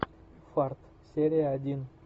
фарт серия один